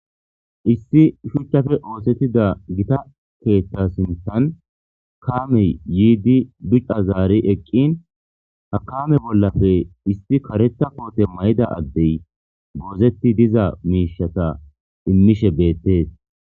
Issi shuchchafe oosettida gita keeththa sinthan kamey yiidi duc'c'a zaari eqqin hakame bollafe isti karetha poote mayda addey goozetti diza miishata immishe beettees.